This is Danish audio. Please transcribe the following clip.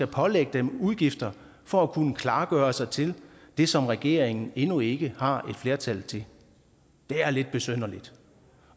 pålægge dem udgifter for at kunne klargøre sig til det som regeringen endnu ikke har et flertal til det er lidt besynderligt